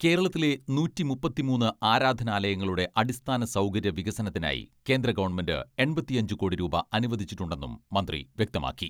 കേരളത്തിലെ നൂറ്റി മുപ്പത്തിമൂന്ന് ആരാധനാലയങ്ങളുടെ അടിസ്ഥാന സൗകര്യ വികസനത്തിനായി കേന്ദ്ര ഗവൺമെന്റ് എൺപത്തിയഞ്ച് കോടി രൂപ അനുവദിച്ചിട്ടുണ്ടെന്നും മന്ത്രി വ്യക്തമാക്കി.